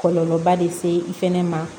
Kɔlɔlɔba de se i fɛnɛ ma